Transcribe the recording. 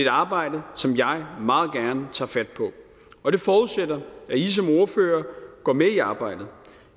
arbejde som jeg meget gerne tager fat på og det forudsætter at i som ordførere går med i arbejdet